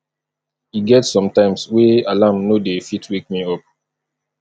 e get sometimes wey alarm no dey fit wake me up